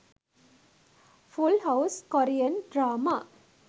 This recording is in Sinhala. full house korean drama